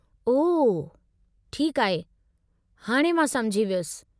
ओह ठीकु आहे, हाणे मां समुझी वयुसि।